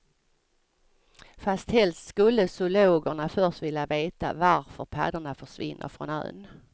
Fast helst skulle zoologerna först vilja veta varför paddorna försvinner från ön.